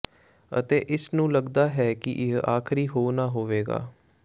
ਅਤੇ ਇਸ ਨੂੰ ਲੱਗਦਾ ਹੈ ਕਿ ਇਹ ਆਖਰੀ ਹੋ ਨਾ ਹੋਵੇਗਾ